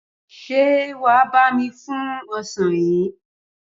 Ṣé wà á bá mi fún ọsàn yìí?